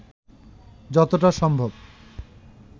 যতটা সম্ভব